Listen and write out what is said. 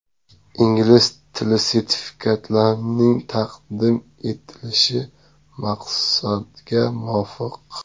Ingliz tili sertifikatlarining taqdim qilinishi maqsadga muvofiq .